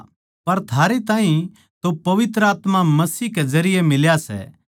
परमेसवर नै म्हारे तै वादा करया सै के वो हमनै अनन्त जीवन देवैगा